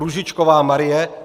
Růžičková Marie